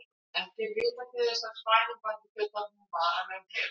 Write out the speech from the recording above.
Ekki er vitað til þess að svæfing valdi fullorðnum varanlegum heilaskaða.